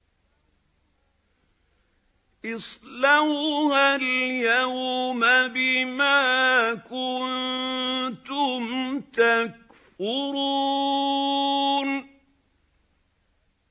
اصْلَوْهَا الْيَوْمَ بِمَا كُنتُمْ تَكْفُرُونَ